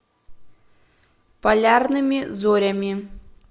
полярными зорями